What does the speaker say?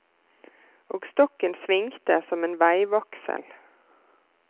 Og stokken svingte som en veivaksel.